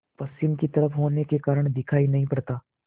पश्चिम की तरफ होने के कारण दिखाई नहीं पड़ता